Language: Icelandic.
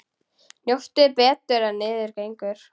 Njóttu betur en niður gengur.